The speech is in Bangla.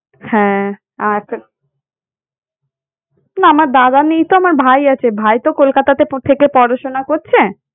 হ্যাঁ, আচ্ছা। না আমার দাদা নেই তো আমার ভাই আছে । ভাই তো কলকাতাতে থেকে পড়াশোনা করছে।